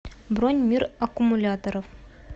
бронь мир аккумуляторов